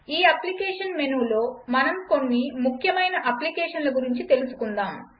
ఈ అప్లికేషన్ మెనూలో మనం కొన్ని ముఖ్యమైన అప్లికేషన్ల గురించి తెలుసుకుందాము